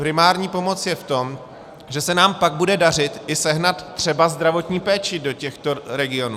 Primární pomoc je v tom, že se nám pak bude dařit i sehnat třeba zdravotní péči do těchto regionů.